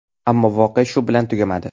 Ammo voqea shu bilan tugamadi.